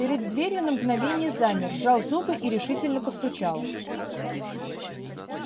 перед дверью на мгновение замер сжал зубы и решительно постучал